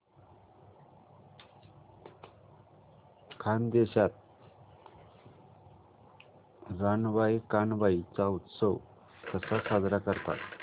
खानदेशात रानबाई कानबाई चा उत्सव कसा साजरा करतात